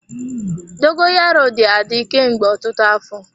Dogoyaro dị adị kemgbe ọtụtụ afọ.